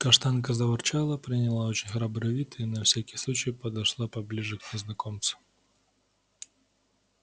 каштанка заворчала приняла очень храбрый вид и на всякий случай подошла поближе к незнакомцу